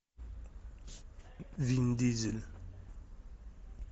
вин дизель